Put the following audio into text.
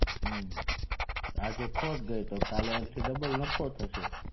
હમ્મ આજે ખોટ ગઈ તો કાલે એનાથી ડબલ નફો થશે